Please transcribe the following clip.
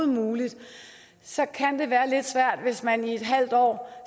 muligt så kan det være lidt svært hvis man i et halvt år